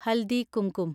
haldi kumkum